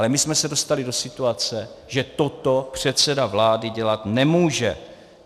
Ale my jsme se dostali do situace, že toto předseda vlády dělat nemůže.